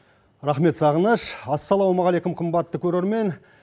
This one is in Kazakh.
рахмет сағыныш ассалаумағалейкум қымбатты көрермен